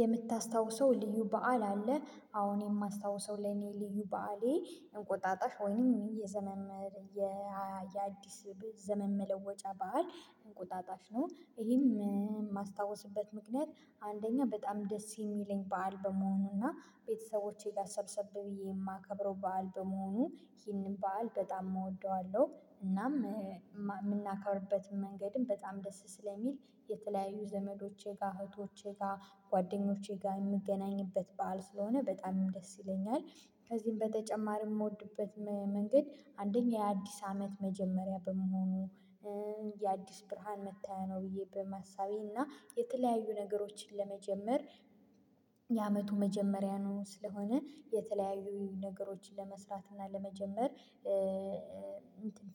የምታስታውሰው ልዩ በዓል አለ አወ እኔ የማስታውሰው ለኔ ልዩ በዓሌ እንቁጣጣሽ ወይንም የዘመን የአዲስ ዘመን መለወጫ ባህል እንቁጣጣሽ ነው። ይሄም የማስታውስበት ምክንያት አንደኛ በጣም ደስ የሚለኝ በዓል በመሆኑና ቤተሰቦቼ ጋር ሰብሰብ ብዬ የማከብረው በዓል በመሆኑ ይህንን በዓል በጣም እወደዋለሁ። እናም የምናከብርበት መንገድም በጣም ደስ ስለሚል የተለያዩ ዘመዶቼ ጋር እህቶቼ ጋር ጓደኞቼ ጋር የምገናኝበት በዓል ስለሆነ በጣም ደስ ይለኛል። ከዚህም በተጨማሪ የምወድበት መንገድ አንደኛ የአዲስ አመት መጀመሪያ በመሆኑ የአዲስ ብርሃን መታያ ነው። ብዬ በማሳቤና እና የተለያዩ ነገሮችን ለመጀመር የአመቱ መጀመሪያ ነው። ስለሆነ የተለያዩ ነገሮችን ለመስራት እና ለመጀመር